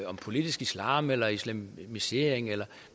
om politisk islam eller islamisering eller